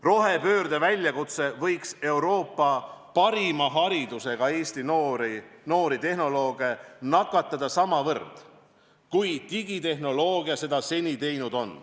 Rohepöörde väljakutse võiks Euroopa parima haridusega Eesti noori tehnolooge nakatada samavõrd, kui digitehnoloogia seda seni teinud on.